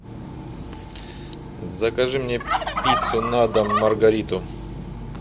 закажи мне пиццу на дом маргариту